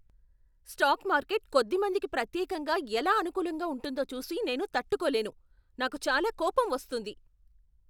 Stock market కొద్దిమందికి ప్రత్యేకంగా ఎలా అనుకూలంగా ఉంటుందో చూసి నేను తట్టుకోలేను, నాకు చాలా కోపం వస్తుంది.